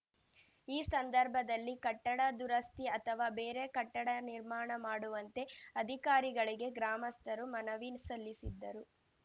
ಈ ಸಂದರ್ಭದಲ್ಲಿ ಕಟ್ಟಡ ದುರಸ್ತಿ ಅಥವಾ ಬೇರೆ ಕಟ್ಟಡ ನಿರ್ಮಾಣ ಮಾಡುವಂತೆ ಅಧಿಕಾರಿಗಳಿಗೆ ಗ್ರಾಮಸ್ಥರು ಮನವಿ ಸಲ್ಲಿಸಿದ್ದರು